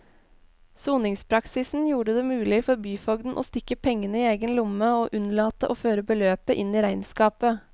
Soningspraksisen gjorde det mulig for byfogden å stikke pengene i egen lomme og unnlate å føre beløpet inn i regnskapet.